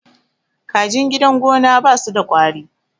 kajin gidan gona ba su da kwari